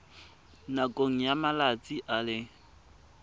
nakong ya malatsi a le